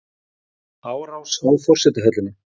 Árás á forsetahöllina